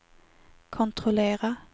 kontrollera